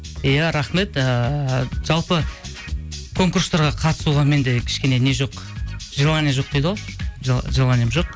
иә рахмет ыыы жалпы конкурстарға қатысуға менде кішкене не жоқ желание жоқ дейді ғой желанием жоқ